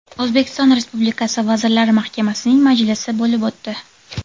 O‘zbekiston Respublikasi Vazirlar Mahkamasining majlisi bo‘lib o‘tdi.